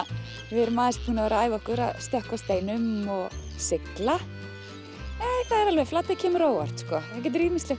við erum aðeins búin að æfa okkur að stökkva á steinum og sigla það er alveg Flatey kemur á óvart sko það getur ýmislegt